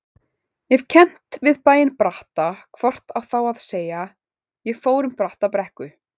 Ef kennt við bæinn Bratta hvort á þá að segja: ég fór um Brattabrekku.